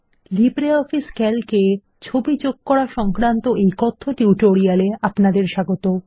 LibreOffice ক্যালকে চিত্র যোগ করা সংক্রান্ত এই কথ্য টিউটোরিয়ালে আপনাদের স্বাগত